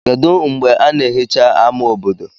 kedu mgbe a na-ehicha ama obodo